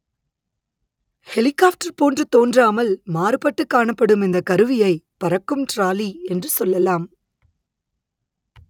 helicopter போன்று தோன்றாமல் மாறுபட்டு காணப்படும் இந்த கருவியை பறக்கும் டிராலி என்று சொல்லலாம்